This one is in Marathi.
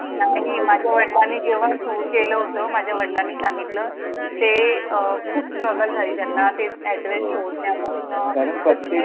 Scope नव्हता जितका आता आहे. नाही, माझ्या वडिलांनी जेव्हा सुरु केलं होतं, तेव्हा माझ्या वडिलांनी सांगितलं, ते खूप struggle हां झाली त्यांना ते हो address शोधण्यापासनं कारण